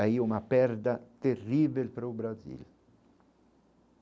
Aí uma perda terrível para o Brasil.